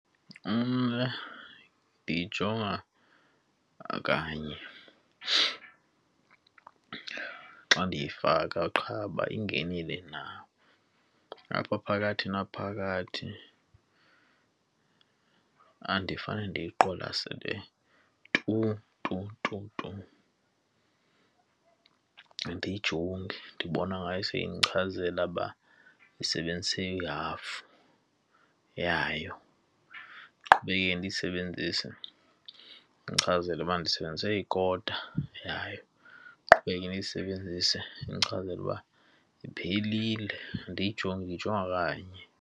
Mna ndiyijonga kanye xa ndiyifaka qha uba ingenile na. Apha phakathi naphakathi andifane ndiyiqwalasele tu tu tu tu, andiyijongi. Ndibona ngayo seyindichazela ukuba ndisebenzise ihafu yayo, ndiqhubekeke ndiyisebenzise. Indichazele ukuba ndisebenzise ikota yayo, ndiqhubeke ndiyisebenzise. Indichazela uba iphelile. Andiyijongi, ndiyijonga kanye.